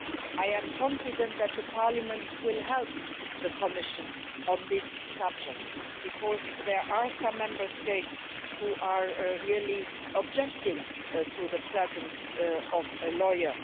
I am confident that the Parliament will help the Commission on this subject because there are some Member States who are objecting to the presence of a lawyer.